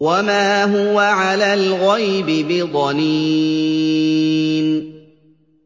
وَمَا هُوَ عَلَى الْغَيْبِ بِضَنِينٍ